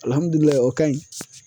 o ka ɲi.